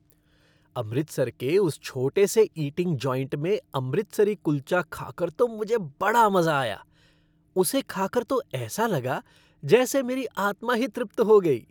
अमृतसर के उस छोटे से ईटिंग जॉइंट में अमृतसरी कुल्चा खाकर तो मुझे बड़ा मज़ा आया। उसे खाकर तो ऐसा लगा जैसे मेरी आत्मा ही तृप्त हो गई।